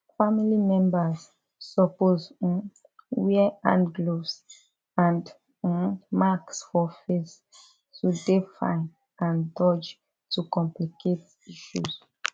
family members suppose um wear hand gloves and um masks for face to dey fine and dodge to complicate issue